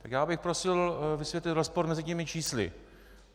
Tak já bych prosil vysvětlit rozpor mezi těmi čísly.